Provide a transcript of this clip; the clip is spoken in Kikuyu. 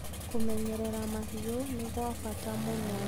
Kũmenyerera mahiũ nĩ gwa bata mũno.